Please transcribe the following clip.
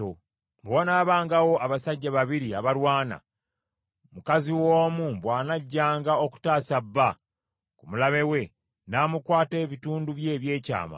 Bwe wanaabangawo abasajja babiri abalwana, mukazi w’omu bw’anajjanga okutaasa bba ku mulabe we n’amukwata ebitundu bye eby’ekyama,